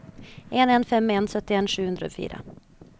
en en fem en syttien sju hundre og fire